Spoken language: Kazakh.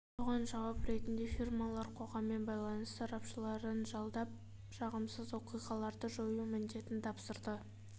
соған жауап ретінде фирмалар қоғаммен байланыс сарапшыларын жалдап жағымсыз оқиғаларды жою міндетін тапсырды